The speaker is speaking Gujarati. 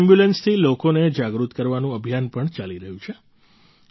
તેમની આ એમ્બ્યુલન્સથી લોકોને જાગૃત કરવાનું અભિયાન પણ ચાલી રહ્યું છે